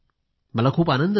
मला खूप आनंद झाला